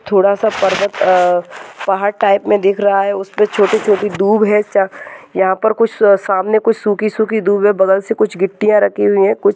थोड़ासा पर्वत अह पहाड़ टाइप मे दिख रहा है। उसमे छोटी छोटी दुब है। यहाँ पर कुछ सामने सुकी सुकी दुब बगल सी कुछ गिट्टिया रखी हुई है। कुछ--